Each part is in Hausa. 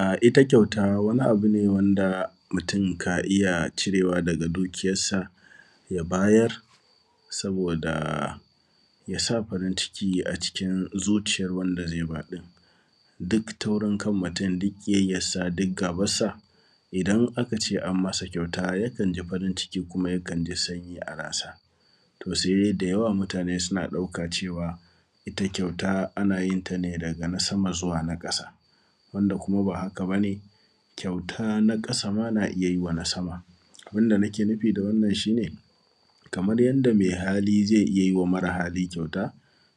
A ita kyauta wani abu ne da mutum ka iya cirewa daga dukiyansa ya bayar saboda yasa farin ciki a cikin zuciyar wanda zai ba ɗin duk taurin kan mutum duk kiyayya duk gabansa idan aka ce an masa kyauta ya kan ji farin ciki kuma ya kan ji sanyi a aransa to sai dai da yawan mutane suna ɗauka cewa ita kyauta ana yinta ne daga na sama zuwa na ƙasa, wanda kuma ba haka bane kyauta na ƙasama na iya yima na sama. Abinda nike nufi da wannan shi ne, kamar yanda mai hali zai iya yima mare hali kyauta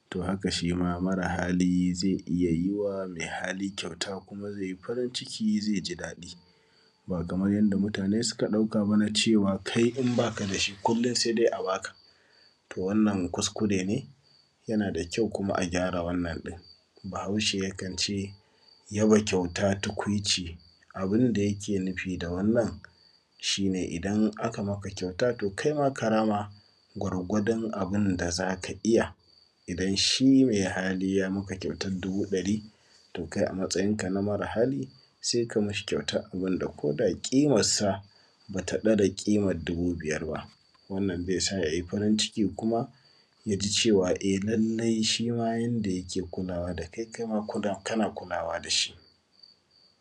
to haka shima mare hali zai yiwwa mai hali kyauta kuma zai yi farin ciki zai ji daɗi, ba kamar yadda mutane suka ɗauka na cewa kai in baka dashi kullum sai dai a baka, wannan kuskure ne yana da kyau kuma a gyara wannan din. Bahaushe ya kance yaba kyauta tukwici, abinda yike nufi da wannan shi ne idan aka maka kyauta kaima ka rama gwargwadon abinda zaka iya, idan shi mai hali ye maka kyautar dubu ɗari to kai a matsayinka na mare hali sai kai mai kyautar abinda koda kimarsa bata ɗara kimar dubu biyar ba. Wannan zai sa ya yi farin ciki ya ji shima lalle yanda yake kulawa da kai kaima kana kulawa dashi.